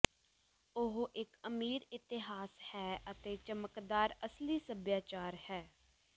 ਉਹ ਇੱਕ ਅਮੀਰ ਇਤਿਹਾਸ ਹੈ ਅਤੇ ਚਮਕਦਾਰ ਅਸਲੀ ਸਭਿਆਚਾਰ ਹੈ